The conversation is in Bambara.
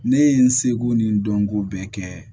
Ne ye n seko ni n dɔnko bɛɛ kɛ